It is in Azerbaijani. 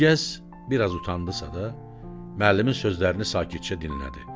Gülgəz biraz utandısa da, müəllimin sözlərini sakitcə dinlədi.